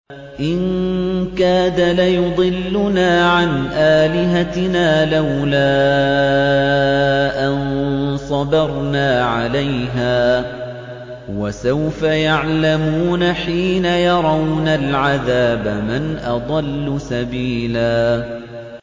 إِن كَادَ لَيُضِلُّنَا عَنْ آلِهَتِنَا لَوْلَا أَن صَبَرْنَا عَلَيْهَا ۚ وَسَوْفَ يَعْلَمُونَ حِينَ يَرَوْنَ الْعَذَابَ مَنْ أَضَلُّ سَبِيلًا